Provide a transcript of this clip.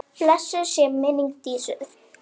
Blessuð sé minning Dísu.